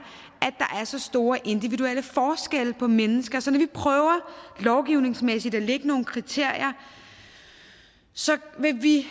så store individuelle forskelle på mennesker så når vi prøver lovgivningsmæssigt at lægge nogle kriterier så vil vi